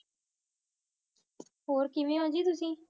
होर केविन होजी तोसी